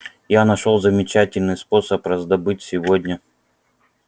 я нашёл замечательный способ раздобыть сегодня